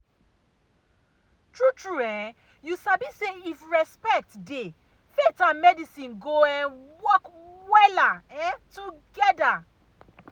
true true um you sabi say if respect dey faith and medicine go um work wella um together.